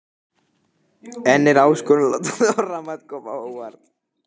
En er áskorun að láta þorramat koma á óvart?